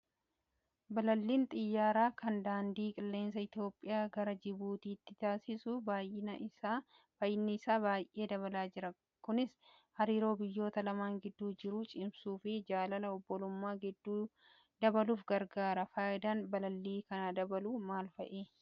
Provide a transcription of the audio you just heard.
Balalliin xiyyaaraa kan daandii qilleensa Itoophiyaa gara Jibuutittii taasisu baay'inni isaa baay'ee dabalaa jira. Kunis hariiroo biyyoota lamaan gidduu jiru cimsuu fi jaalala obbolummaa gidduu dabaluuf gargaara. Fayidaan balallii kana dabaluu maal fa'i?